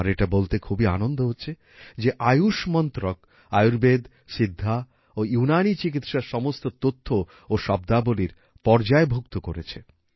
আমার এটা বলতে খুবই আনন্দ হচ্ছে যে আয়ুষ মন্ত্রক আয়ুর্বেদ সিদ্ধা ও ইউনানী চিকিৎসার সমস্ত তথ্য ও শব্দাবলীর পর্যায়ভুক্ত করেছে